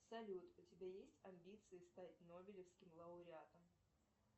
салют у тебя есть амбиции стать нобелевским лауреатом